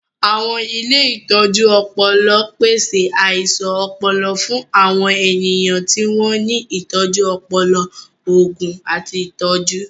Àwọn ilé ìtọ́jú ọpọlọń pèsè àìsàn ọpọlọ fún àwọn ènìyàn tí wọ́n ní ìtọ́jú ọpọlọ, òògùn, àti ìtọ́jú.